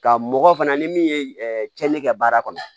Ka mɔgɔ fana ni min ye tiɲɛni kɛ baara kɔnɔ